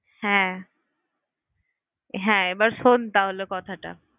হ্যাঁ হ্যাঁ এবার শোন তাহলে কথাটা।